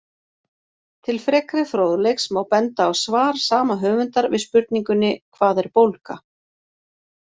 Til frekari fróðleiks má benda á svar sama höfundar við spurningunni Hvað er bólga?